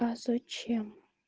а зачем